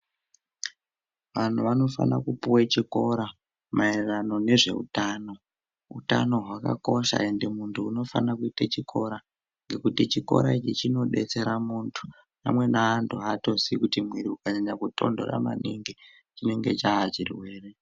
Vantu vanofana kupuwe chikora maererano nezveutano. Utano hwakakosha endi muntu unofana kuite chikora, ngekuti chikora ichi chinodetsera muntu. Amweni antu aatozii kuti mwiri ukanyanya kutondhora maningi chinonga chaa chirwere.